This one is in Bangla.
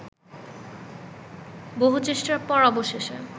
বহু চেষ্টার পর অবশেষে